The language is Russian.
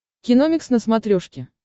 киномикс на смотрешке